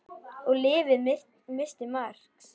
Og lyfið missti marks.